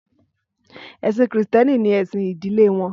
Ẹ̀sìn Krístẹ́nì ni ẹ̀sìn ìdílé wọn